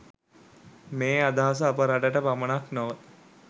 මේ අදහස අප රටට පමණක් නොව